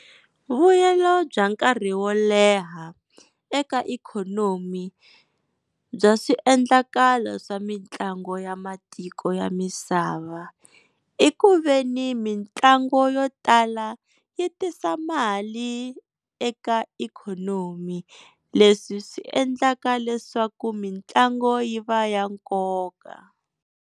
Vuyelo bya nkarhi wo leha eka ikhonomi bya swiendlakalo swa mitlangu ya matiko ya misava i ku veni mitlangu yo tala yi tisa mali eka ikhonomi leswi swi endlaka leswaku mitlangu yi va ya nkoka.